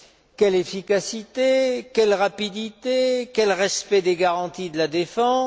Quelle efficacité, quelle rapidité, quel respect des garanties de la défense?